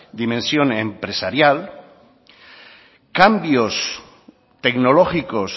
dimensión empresarial cambios tecnológicos